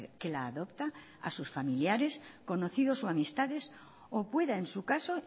que la adopta a sus familiares conocidos o amistades o pueda en su caso